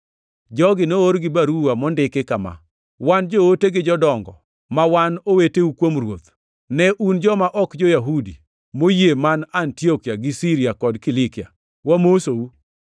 Jogi noor gi baruwa mondiki kama: Wan joote gi jodongo, ma wan oweteu kuom Ruoth, Ne un joma ok jo-Yahudi moyie man Antiokia gi Siria kod Kilikia: Wamosou,